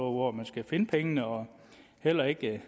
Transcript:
hvor man skal finde pengene og heller ikke